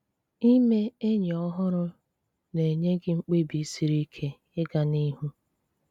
Íme enyì ọhụrụ̀ na-enye gị mkpebì siri ike ị̀gà n’ihù.